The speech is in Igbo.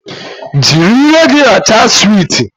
Jiri ire gị rachaa suweet